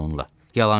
Yalançıdır.